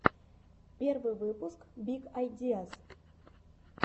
первый выпуск биг айдиаз